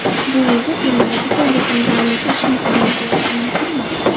Bu unga termadagi faoliyatini davom ettirish imkonini berishi mumkinmi?